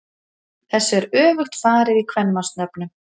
Þessu er öfugt farið í kvenmannsnöfnum.